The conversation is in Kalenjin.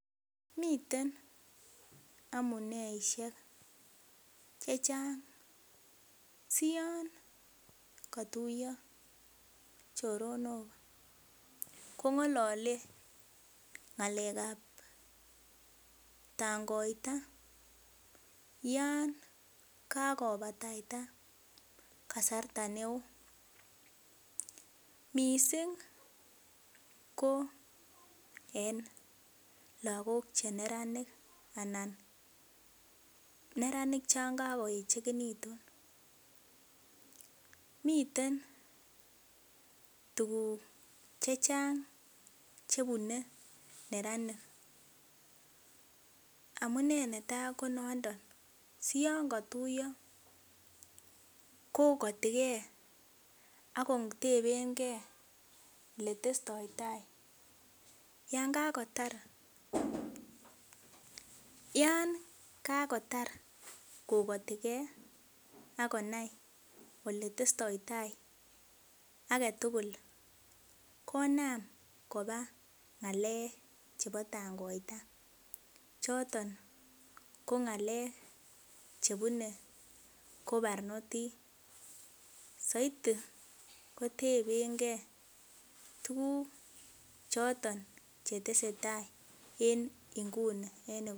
Miten amuneishek chechang siyon kotuiyo choronok kong'ololen ng'alekab tangoita yangakobata kasarta neo missing ko en lagok chenranik anan neranik chon kakoechekitu, miten tuguk chechang chebune neranik amunee netaa ko noondon siyon katuiyo kokotike akotepengee oletestoitai yan kakotar kokotike akonai oletestoitai agetugul konam kobaa ng'alek chebo tangoita choton ko ng'alek chebune ko barnotik saidi kotebengee tuguk choton chetesetai en inguni.